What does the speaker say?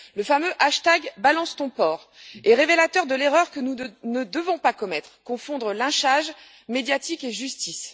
Le fameux balancetonporc est révélateur de l'erreur que nous ne devons pas commettre confondre lynchage médiatique et justice.